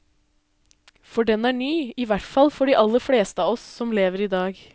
For den er ny, ihvertfall for de aller fleste av oss som lever i dag.